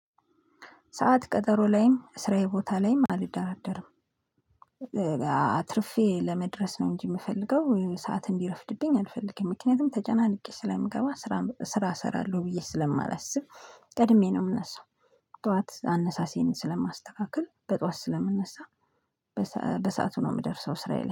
ሰዓት ቀጠሮ ላይም ስራዬ ቦታ ላይም አልደራደርም አትርፌ ለመድረስ ነው እንጂ የምፈልገው ሰዓት እንዲረፍድብኝ አልፈልግም ምክንያቱም ተጨናንቄ ስለምገባ። ስራ ስራ እሰራለሁ ብዬ ስለማላስብ ቀድሜ ነው የምነሳው። ጠዋት አነሳሴን ስለማስተካከል በጠዋት ስለምነሳ። በሰአቱ ነው የምደርሰው ስራዬ ላይ